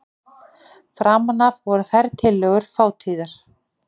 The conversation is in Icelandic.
Framan af voru þær tiltölulega fátíðar.